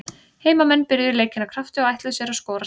Heimamenn byrjuðu leikinn af krafti og ætluðu sér að skora snemma.